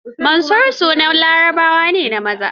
Mansur ma sunan Larabawa ne na maza.